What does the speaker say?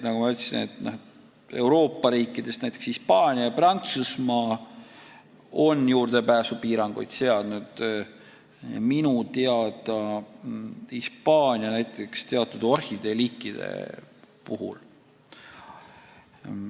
Nagu ma ütlesin, Euroopa riikidest on näiteks Hispaania ja Prantsusmaa juurdepääsupiiranguid seadnud, minu teada Hispaania näiteks teatud orhideeliikide puhul.